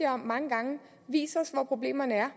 om mange gange vis os hvor problemerne er